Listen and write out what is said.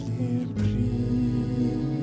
í